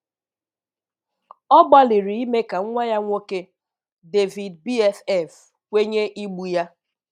Ọ gbalịrị ime ka nwa ya nwoke, David BFF, kwenye igbu ya.